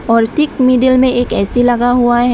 और ठीक मिडिल में एक ऐ_सी लगा हुआ है।